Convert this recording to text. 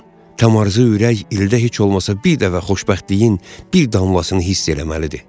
Tamarzı ürək ildə heç olmasa bir dəfə xoşbəxtliyin bir damlasını hiss eləməlidir.